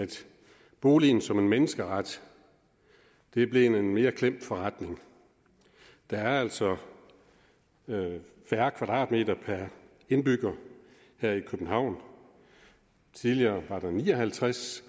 boligen som en menneskeret er blevet en mere klemt forretning der er altså færre kvadratmeter per indbygger her i københavn tidligere var der ni og halvtreds